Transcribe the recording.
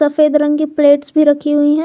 सतरंगी प्लेट्स भी रखी हुई है।